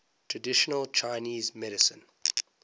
traditional chinese medicine